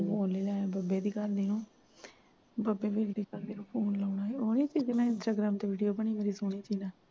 ਉਹਨੂੰ ਲਾਲਾ ਬਾਬੇ ਦੀ ਘਰ ਦੀ ਨੂੰ ਬੱਬੇ ਦੀ ਘ ਦੀ ਨੂੰ phone ਲੱਗਣਾ ਸੀ ਉਹ ਨਈ ਜਿਸ ਨੇ instagram ਤੇ video ਬਣੀ ਸੋਹਣੀ ਜਿਹੀ ਨਾਲ